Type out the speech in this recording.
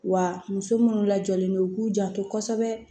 Wa muso munnu lajɔlen don u k'u janto kosɛbɛ